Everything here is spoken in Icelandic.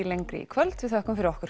lengri í kvöld við þökkum fyrir okkur